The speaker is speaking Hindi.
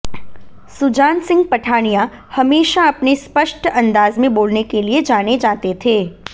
सुजान सिंह पठानिया हमेशा अपने स्पष्ट अंदाज में बोलने के लिए जाने जाते थे